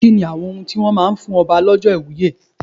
Kí ni àwọn ohun tí wón máa ń fún Ọba lọ́jọ́ ìwúye?